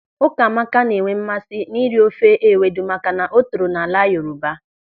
Ụkamaka na-enwe mmasị n'iri ofe ewedu maka na o toro n'ala Yoruba.